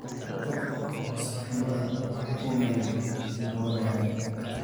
Tag oo saxamada uu maydh marwadada